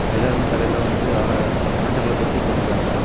எல்லாருமே தலைல வந்து ஆர மஞ்சள் கலர் தொப்பி போட்டுருக்காங்க.